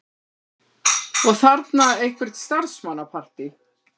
Og þarna eitthvert starfsmannapartí.